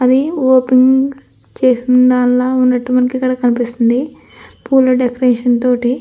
అది ఓపెనింగ్ చేసిందానిలా ఉన్నట్టు మనకు కనిపిస్తూ ఉంది. పూల డెకొరేషన్ తోటి.